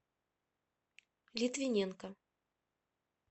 литвиненко